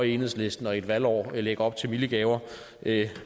enhedslisten og i et valgår lægger op til milde gaver